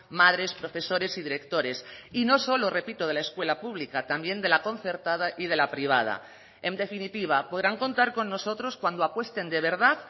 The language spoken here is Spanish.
madres profesores y directores y no solo repito de la escuela pública también de la concertada y de la privada en definitiva podrán contar con nosotros cuando apuesten de verdad